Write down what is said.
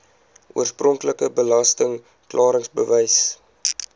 oorspronklike belasting klaringsbewys